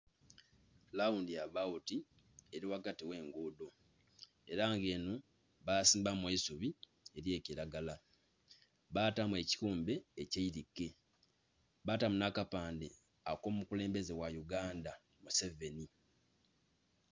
Lawundi abawuti eli ghagati gh'enguudho. Ela nga enho basimbamu eisubi ely'ekilagala. Baatamu ekighumbe eky'eilike. Baatamu nh'akapande ak'omukulembeze gha Uganda, Museveni.